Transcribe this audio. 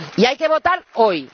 Y hay que votar hoy.